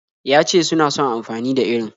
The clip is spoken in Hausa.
Ya ce suna son amfani da irin.